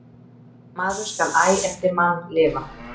Maður skal æ eftir mann lifa.